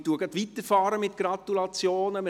Ich fahre gleich weiter mit Gratulationen.